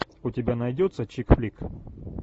у тебя найдется чик флик